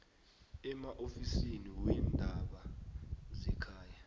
emaofisini weendaba zekhaya